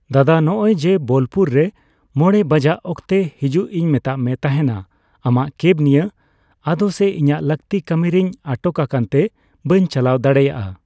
ᱫᱟᱫᱟ, ᱱᱚᱜᱼᱚᱭ ᱡᱮ ᱵᱳᱞᱯᱩᱨ ᱨᱮ ᱢᱚᱲᱮ ᱵᱟᱡᱟᱜ ᱚᱠᱛᱮ ᱦᱟᱹᱡᱩᱜ ᱤᱧ ᱢᱮᱛᱟᱫ ᱢᱮ ᱛᱟᱦᱮᱸᱱᱟ, ᱟᱢᱟᱜ ᱠᱮᱵ ᱱᱤᱭᱟᱹ᱾ ᱟᱫᱚ ᱥᱮ ᱤᱧᱟᱹᱜ ᱞᱟᱹᱠᱛᱤ ᱠᱟᱹᱢᱤ ᱨᱤᱧ ᱟᱴᱚᱠ ᱟᱠᱟᱱ ᱛᱮ ᱵᱟᱹᱧ ᱪᱟᱞᱟᱣ ᱫᱟᱲᱮᱭᱟᱜᱼᱟ᱾